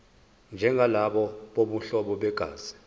njengalabo bobuhlobo begazi